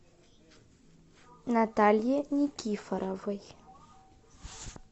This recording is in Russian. наталье никифоровой